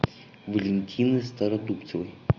валентины стародубцевой